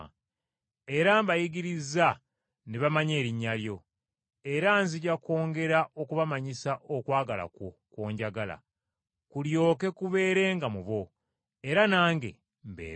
Era mbayigirizza ne bamanya erinnya lyo, era nzija kwongera okubamanyisa okwagala kwo kw’onjagala, kulyoke kubeerenga mu bo, era nange mbeere mu bo.”